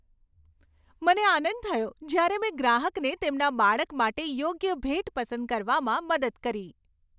મને આનંદ થયો જ્યારે મેં ગ્રાહકને તેમના બાળક માટે યોગ્ય ભેટ પસંદ કરવામાં મદદ કરી.